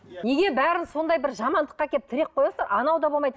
неге бәріңіз сондай жамандыққа әкеліп тіреп қоясыздар анау да болмайды